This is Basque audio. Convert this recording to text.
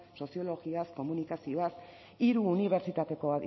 soziologiaz komunikazioaz hiru